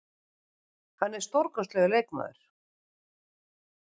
Hann er stórkostlegur leikmaður.